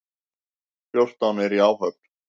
Fjórtán eru í áhöfn.